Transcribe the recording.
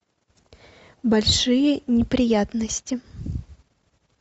большие неприятности